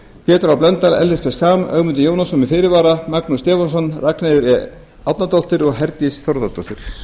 pétur h blöndal ellert b schram ögmundur jónasson með fyrirvara magnús stefánsson ragnheiður e árnadóttir og herdís þórðardóttir